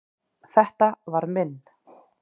Þetta var minn.